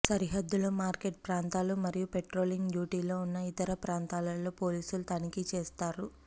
సరిహద్దులు మార్కెట్ ప్రాంతాలు మరియు పెట్రోలింగ్ డ్యూటీలో ఉన్న ఇతర ప్రాంతాలలో పోలీసులు తనిఖీలు చేస్తారు